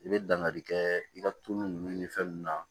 I bɛ dangari kɛ i ka tulu ninnu ni fɛn ninnu na